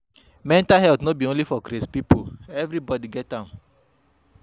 Mental health no be for only crazy pipo, everybody get am